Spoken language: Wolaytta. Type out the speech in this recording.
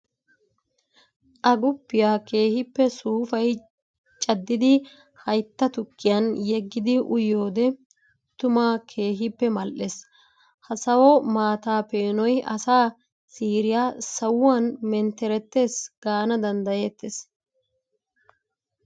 Agguppiya keehippe suufayi caddidi haytta tukkiyan yeggiddi uyiyoode tumma keehippe mali'ees. Ha sawo maata peenoy asaa siiriya sawuwan mentteretees gaana danddayettes.